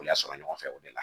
O y'a sɔrɔ ɲɔgɔn fɛ o de la